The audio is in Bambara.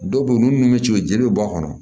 Dɔw bɛ yen ninnu bɛ ci jeli be bɔ a kɔnɔ